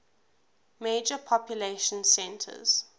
major population centers